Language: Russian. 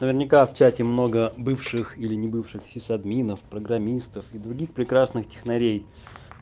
наверняка в чате много бывших или не бывших сисадминов и программистов и других прекрасных технарей